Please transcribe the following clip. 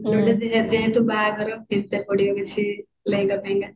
ବାହାଘର ପିନ୍ଧେତେ ପଡିବ କିଛି ଲେହେଙ୍ଗା ଫେହେଙ୍ଗା